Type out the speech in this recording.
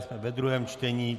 Jsme ve druhém čtení.